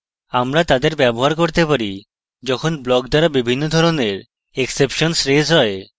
আমরা তাদের ব্যবহার করতে পারি যখন block দ্বারা বিভিন্ন ধরনের exceptions রেজ হয়